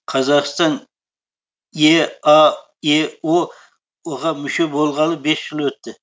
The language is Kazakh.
қазақстан еаэо ға мүше болғалы бес жыл өтті